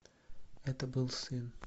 это был сын